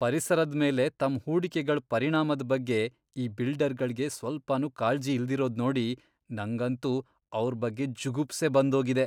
ಪರಿಸರದ್ ಮೇಲೆ ತಮ್ ಹೂಡಿಕೆಗಳ್ ಪರಿಣಾಮದ್ ಬಗ್ಗೆ ಈ ಬಿಲ್ಡರ್ಗಳ್ಗೆ ಸ್ವಲ್ಪನೂ ಕಾಳ್ಜಿ ಇಲ್ದಿರೋದ್ ನೋಡಿ ನಂಗಂತೂ ಅವ್ರ್ ಬಗ್ಗೆ ಜುಗುಪ್ಸೆ ಬಂದೋಗಿದೆ.